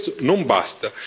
Ma questo non basta.